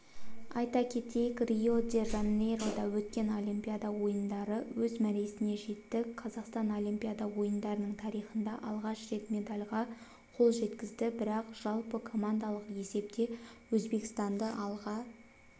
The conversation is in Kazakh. айта кетейік рио-де-жанейрода өткен олимпиада ойындарыөз мәресіне жетті қазақстанолимпиада ойындарының тарихында алғаш рет медальға қол жеткізді бірақ жалпыкомандалық есептеөзбекстанды алға